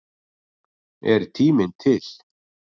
Er tíminn til?